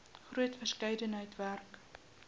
groot verskeidenheid werk